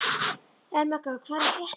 Ermenga, hvað er að frétta?